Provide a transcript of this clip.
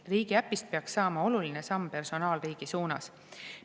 Riigiäpist peaks saama oluline samm personaalriigi suunas.